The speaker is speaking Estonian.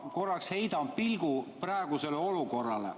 Ma korraks heidan pilgu praegusele olukorrale.